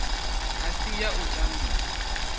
a si ya u tambisa